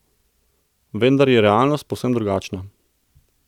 Vendar je realnost povsem drugačna.